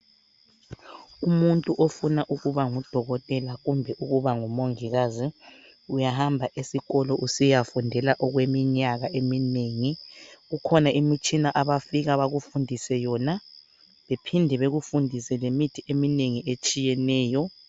umuntu ofuna ukuba ngu dokotela kumbe ukuba ngumongikazi uyahamba esikolo usiya fundela okweminyaka eminengi kukhona imitshina abafika bakufundise yona bephinde bekufundise lemiti eminengi etshiyeneyo